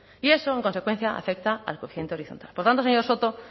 y eso en consecuencia afecta al coeficiente horizontal por tanto señor soto